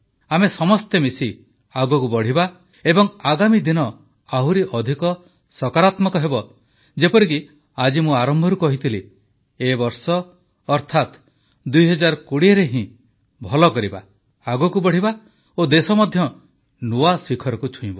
ଆମେ ସମସ୍ତେ ମିଶି ଆଗକୁ ବଢ଼ିବା ଓ ଆଗାମୀ ଦିନ ଆହୁରି ଅଧିକ ସକାରାତ୍ମକ ହେବ ଯେପରିକି ଆଜି ମୁଁ ଆରମ୍ଭରୁ କହିଥିଲି ଏବର୍ଷ ଅର୍ଥାତ 2020ରେ ହିଁ ଭଲ କରିବା ଆଗକୁ ବଢ଼ିବା ଓ ଦେଶ ମଧ୍ୟ ନୂଆ ଶିଖରକୁ ଛୁଇଁବ